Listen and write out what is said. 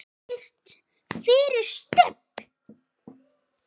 FYRIR STUBB!